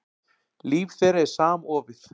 Líf þeirra er samofið.